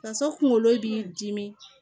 Faso kunkolo b'i dimi